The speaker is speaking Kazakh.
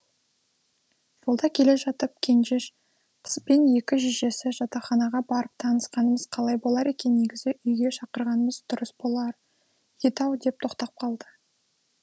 жолда келе жатып кенжеш қызбен екі шешесі жатақханаға барып танысқанымыз қалай болар екен негізі үйге шақырғанымыз дұрыс болар еді ау деп тоқтап қалды